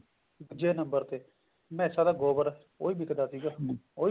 ਦੂਜੇ number ਤੇ ਮੈਸਾਂ ਦਾ ਗੋਬਰ ਉਹ ਵੀ ਵਿਕਦਾ ਸੀਗਾ ਉਹ ਵੀ